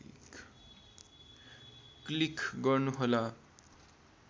click गर्नुहोला